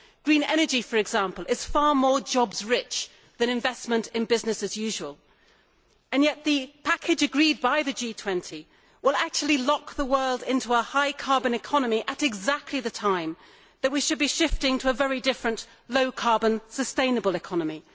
Green energy, for example, is far more jobs rich than investment in business as usual, yet the package agreed by the G20 will actually lock the world into a high carbon economy at exactly the time that we should be shifting to a very different low carbon sustainable economy.